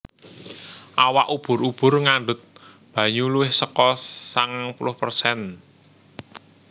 Awak ubur ubur ngandhut banyu luwih saka sangang puluh persen